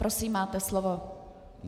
Prosím, máte slovo.